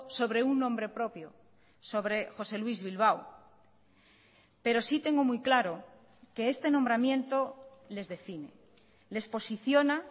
sobre un nombre propio sobre josé luis bilbao pero sí tengo muy claro que este nombramiento les define les posiciona